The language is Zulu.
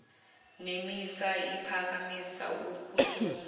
nemisa iphakamisa ukuhlomisa